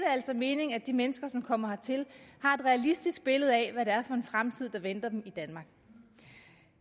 altså mening at de mennesker som kommer hertil har et realistisk billede af hvad det er for en fremtid der venter dem i danmark